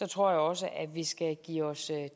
tror jeg også at vi skal give os